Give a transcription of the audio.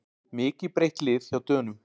Mikið breytt lið hjá Dönum